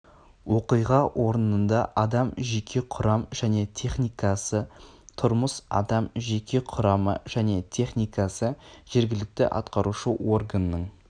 оқиға орнында адам жеке құрам және техникасы тұрмыс адам жеке құрамы және техникасы жергілікті атқарушы органның